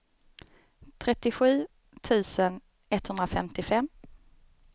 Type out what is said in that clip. trettiosju tusen etthundrafemtiofem